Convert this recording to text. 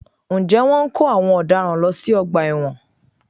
Ǹjẹ́ Wọ́n ń kó àwọn ọ̀daràn lọ sí ọgbà ẹ̀wọ̀n?